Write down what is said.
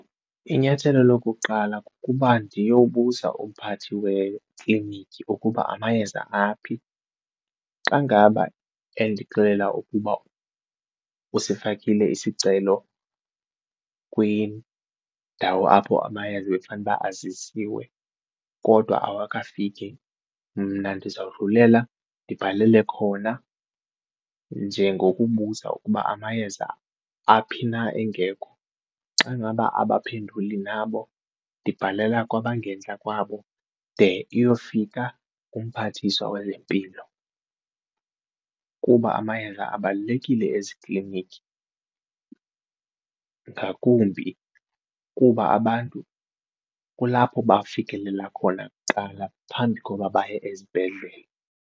Inyathelo lokuqala kukuba ndiyobuza umphathi wekliniki ukuba amayeza aphi. Xa ngaba endixelela ukuba usifakile isicelo kwindawo apho amayeza ebekufanuba aziswe kodwa awakafiki mna ndizawudlulela ndibhalele khona nje ngokubuza ukuba amayeza aphi na engekho, xa ngaba abaphenduli nabo ndibhalela kwabangentla kwabo de iyofika kumphathiswa wezempilo kuba amayeza abalulekile ezikliniki ngakumbi kuba abantu kulapho bafikelela khona kuqala phambi koba baye ezibhedlele.